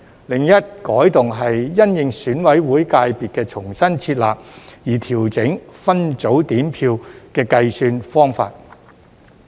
另一改動是因應選舉委員會界別的重新設立而調整分組點票的計算方法。